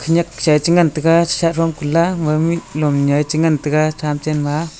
nyak cha chingan chega che cha jong chiga chi ngan chega cha chen ma.